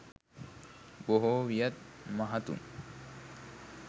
බොහෝ වියත් මහතුන්